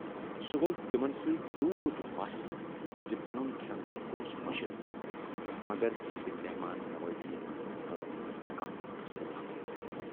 سُہ گَو تِمن سۭتۍ تیوٗت مَس زِ پنُن کھٮ۪ن چٮ۪ن گوس مٔشِتھ مگر تِہٕنزِ مٮ۪ہمان نوٲزی منز تھٲوٕن نہٕ کانہہ تہِ کسر باقی۔